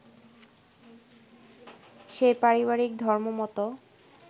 সেই পারিবারিক ধর্মমত